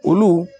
Olu